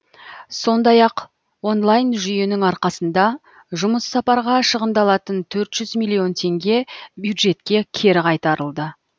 сондай ақ онлайн жүйенің арқасында жұмыс сапарға шығындалатын төрт жүз миллион теңге бюджетке кері қайтарылды